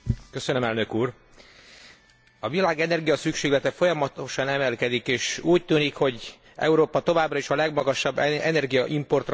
A világ energiaszükséglete folyamatosan emelkedik, és úgy tűnik, hogy Európa továbbra is a legmagasabb energiaimportra szoruló régiók közé fog tartozni.